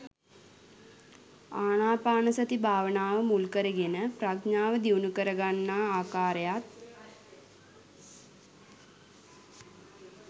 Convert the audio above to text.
ආනාපානසති භාවනාව මුල්කරගෙන ප්‍රඥාව දියුණු කරගන්නා ආකාරයත්